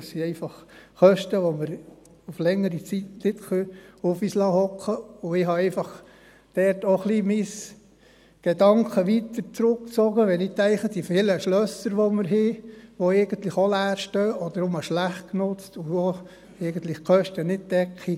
Dies sind einfach Kosten, die wir für längere Zeit nicht auf uns sitzen lassen können, und ich habe dort einfach auch meine Gedanken ein wenig weitergesponnen, wenn ich an die vielen Schlösser denke, die wir haben, die eigentlich auch leer stehen oder nur schlecht genutzt sind, die eigentlich die Kosten nicht decken.